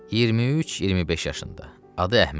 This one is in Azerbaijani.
23-25 yaşında, adı Əhməd.